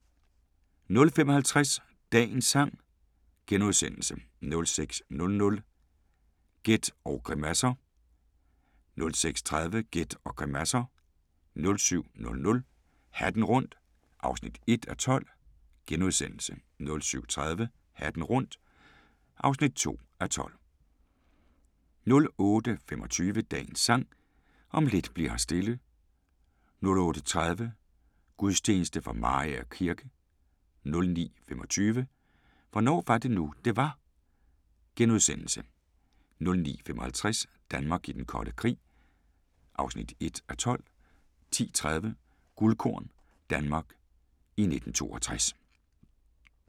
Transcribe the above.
05:50: Dagens sang * 06:00: Gæt og grimasser 06:30: Gæt og grimasser 07:00: Hatten rundt (1:12)* 07:30: Hatten rundt (2:12) 08:25: Dagens Sang: Om lidt bli'r her stille 08:30: Gudstjeneste fra Mariager kirke * 09:25: Hvornår var det nu, det var? * 09:55: Danmark i den kolde krig (1:12) 10:30: Guldkorn - Danmark i 1962